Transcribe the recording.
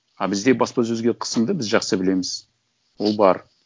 а бізде баспасөзге қысымды біз жақсы білеміз ол бар